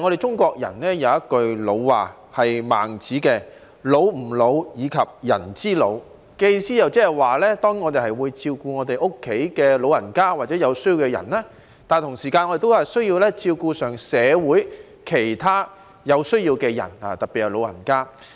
中國人有一句老話，是《孟子》的"老吾老以及人之老"，意思是我們要照顧家中長者或有需要的人，但同時間也需要照顧社會上其他有需要的人，特別是長者。